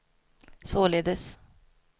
således